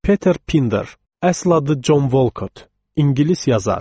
Peter Pinder, əsl adı Jon Wolkot, ingilis yazar.